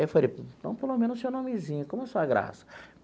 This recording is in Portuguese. Eu falei, então pelo menos seu nomezinho, como é a sua graça?